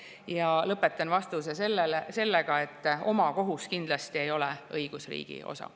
Ja lõpetan vastuse sellega, et omakohus kindlasti ei ole õigusriigi osa.